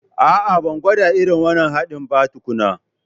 A'a, ban gwada irin wannan haɗin ba tukuna